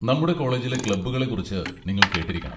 നമ്മുടെ കോളേജിലെ ക്ലബ്ബുകളെക്കുറിച്ച് നിങ്ങൾ കേട്ടിരിക്കണം.